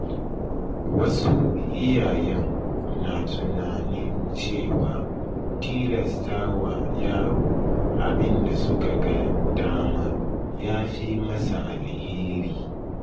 Wasu iyayen na tunanin cewa tilasta wa yaro abin da suka ga dama ya fi masa alheri.